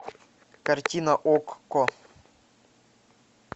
картина окко